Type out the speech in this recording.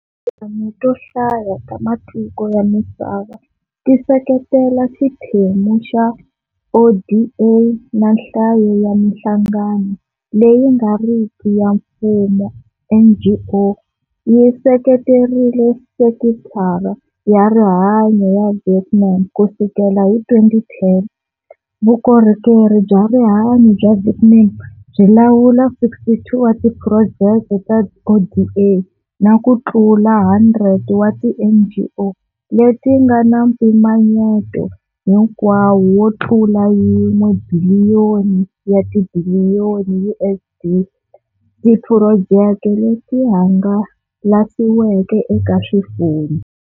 Tinhlengeletano to hlaya ta matiko ya misava ti seketela xiphemu xa ODA na nhlayo ya Minhlangano leyi nga riki ya Mfumo, NGO, yi seketerile Sekithara ya Rihanyo ya Vietnam Ku sukela hi 2010, Vukorhokeri bya Rihanyo bya Vietnam byi lawula 62 wa tiphurojeke ta ODA na ku tlula 100 wa tiNGO leti nga na mpimanyeto hinkwawo wo tlula yin'we biliyoni ya tibiliyoni USD, tiphurojeke leti hangalasiweke eka swifundzha.